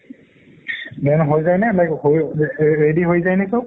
then হৈ যায় নে ready হৈ যায় নে সব